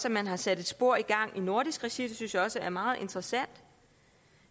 at man har sat et spor i gang i nordisk regi det synes jeg også er meget interessant